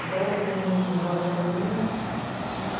Então eu atuo muito no Vara de Família.